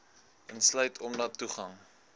insluit omdat toegang